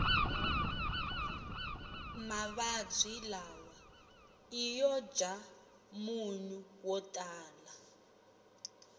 mavabwi lawa iyojamunyu wotala